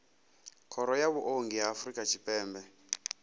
khoro ya vhuongi ya afrika tshipembe